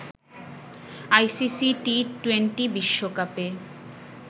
ICC T twenty বিশ্বকাপে